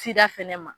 Sida fɛnɛ ma